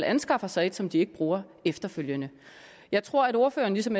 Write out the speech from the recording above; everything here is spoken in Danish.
anskaffer sig et som de ikke bruger efterfølgende jeg tror at ordføreren ligesom